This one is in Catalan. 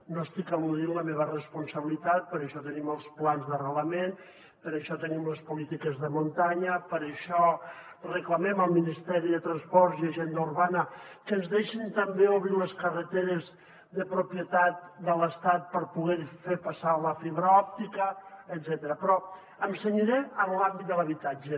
no estic eludint la meva responsabilitat per això tenim els plans d’arrelament per això tenim les polítiques de muntanya per això reclamem al ministeri de transports i agenda urbana que ens deixin també obrir les carreteres de propietat de l’estat per poder hi fer passar la fibra òptica etcètera però em cenyiré en l’àmbit de l’habitatge